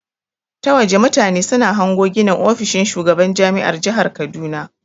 Ta waje mutane suna hango ginin ofishin shugaban jami'ar jahar kaduna.